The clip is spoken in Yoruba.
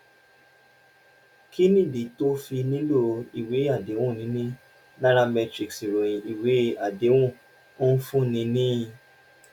kí nìdí tó o fi nílò ìwé àdéhùn: níní nairametrics ìròyìn ìwé àdéhùn ń fúnni ní